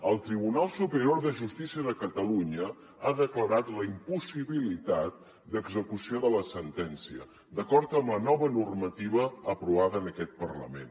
el tribunal superior de justícia de catalunya ha declarat la impossibilitat d’execució de la sentència d’acord amb la nova normativa aprovada en aquest parlament